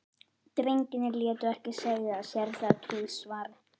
Drengirnir létu ekki segja sér það tvisvar.